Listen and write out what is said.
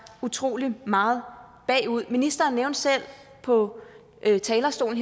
utrolig meget bagud ministeren nævnte selv på talerstolen